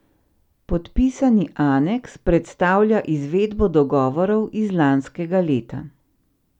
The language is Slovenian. Podpisani aneks predstavlja izvedbo dogovorov iz lanskega leta.